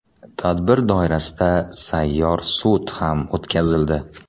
Tadbir doirasida sayyor sud ham o‘tkazildi.